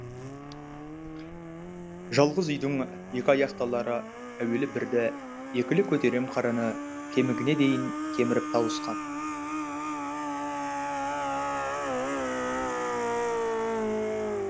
жалғыз үйдің екі аяқтылары әуелі бірді екілі көтерем қараны кемігіне дейін кеміріп тауысқан